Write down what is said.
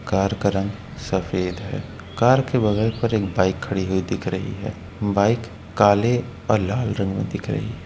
Car का रंग सफेद है। कार के बगल पर एक बाइक खड़ी हुई दिख रही है। बाइक काले और लाल रंग में दिख रही है।